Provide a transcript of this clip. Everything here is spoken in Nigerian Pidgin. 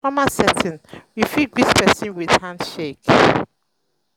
for formal setting we fit greet person with hand shake